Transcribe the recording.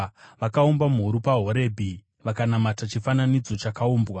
Vakaumba mhuru paHorebhi, vakanamata chifananidzo chakaumbwa.